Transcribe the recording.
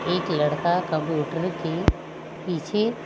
एक लड़का कंप्यूटर की पीछे--